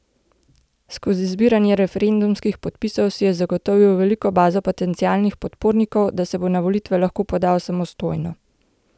Skozi zbiranje referendumskih podpisov si je zagotovil veliko bazo potencialnih podpornikov, da se bo na volitve lahko podal samostojno.